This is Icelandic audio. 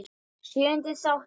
Sjöundi þáttur